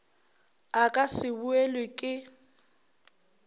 a ka se boelwe ke